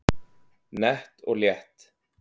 Nett og létt